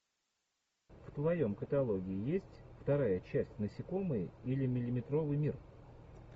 в твоем каталоге есть вторая часть насекомые или миллиметровый мир